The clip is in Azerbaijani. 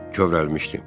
Bill kövrəlmişdi.